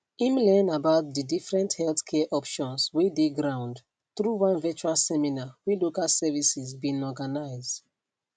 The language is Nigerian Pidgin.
im learn about di different healthcare options wey dey ground through one virtual seminar wey local services bin organize